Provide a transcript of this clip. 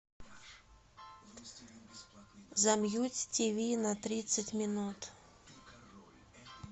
замьють тиви на тридцать минут